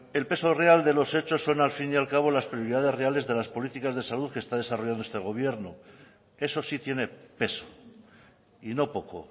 el peso real de los hechos son al fin y al cabo las prioridades reales de las políticas de salud que está desarrollando este gobierno eso sí tiene peso y no poco